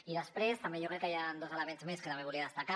i després també jo crec que hi ha dos elements més que volia destacar